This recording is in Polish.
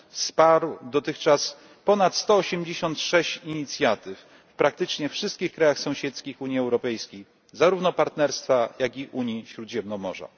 Wsparł on dotychczas ponad 186 inicjatyw w praktycznie wszystkich krajach sąsiedzkich Unii Europejskiej, zarówno Partnerstwa Wschodniego, jak i Unii dla Śródziemnomorza.